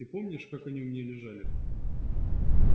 ты помнишь как они у меня лежали